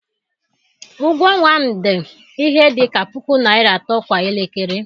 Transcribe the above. Ụgwọ ọnwa m dị ihe dị ka puku naira atọ kwa elekere.